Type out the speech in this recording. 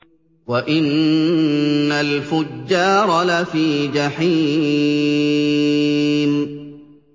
وَإِنَّ الْفُجَّارَ لَفِي جَحِيمٍ